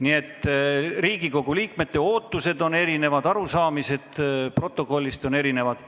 Nii et Riigikogu liikmete ootused on erinevad ja arusaamised protokollist on erinevad.